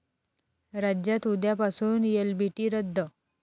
राज्यात उद्यापासून एलबीटी रद्द